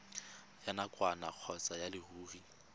ya nakwana kgotsa ya leruri